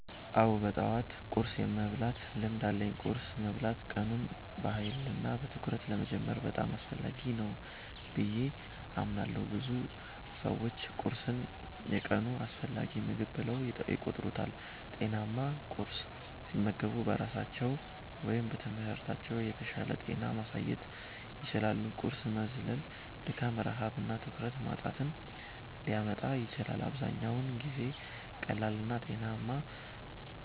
አዎ፣ በጠዋት ቁርስ የመብላት ልምድ አለኝ። ቁርስ መብላት ቀኑን በኃይልና በትኩረት ለመጀመር በጣም አስፈላጊ ነው ብዬ አምናለሁ። ብዙ ሰዎች ቁርስን የቀኑ አስፈላጊ ምግብ ብለው ይቆጥሩታል። ጤናማ ቁርስ ሲመገቡ በስራቸው ወይም በትምህርታቸው የተሻለ ውጤት ማሳየት ይችላሉ። ቁርስ መዝለል ድካም፣ ረሃብ እና ትኩረት ማጣትን ሊያመጣ ይችላል። አብዛኛውን ጊዜ ቀላልና ጤናማ